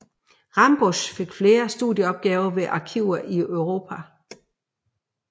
Rambusch fik flere studieopgaver ved arkiver i Europa